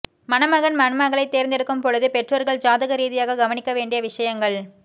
மணமகன் மணமகளை தேர்ந்தெடுக்கும் பொழுது பெற்றோர்கள் ஜாதக ரீதியாக கவனிக்க வேண்டிய விஷயங்கள்